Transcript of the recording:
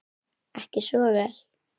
Ekki svo vel?